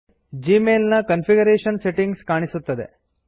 Gmail ನ configuration settings ಕಾಣಿಸುತ್ತದೆ